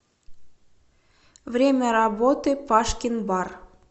время работы пашкин бар